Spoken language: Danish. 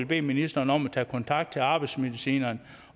bede ministeren om at tage kontakt til arbejdsmedicinerne